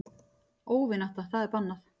Óvinátta það er bannað.